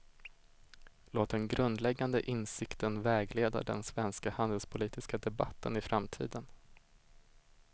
Låt den grundläggande insikten vägleda den svenska handelspolitiska debatten i framtiden.